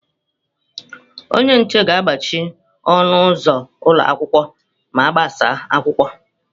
Onye nche ga-agbachi ọnụ ụzọ ụlọ akwụkwọ ma agbasa akwụkwọ.